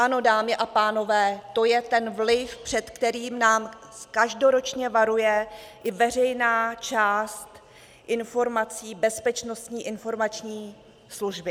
Ano, dámy a pánové, to je ten vliv, před kterým nás každoročně varuje i veřejná část informací Bezpečnostní informační služby.